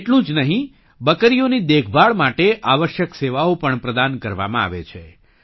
એટલું જ નહીં બકરીઓની દેખભાળ માટે આવશ્યક સેવાઓ પણ પ્રદાન કરવામાં આવે છે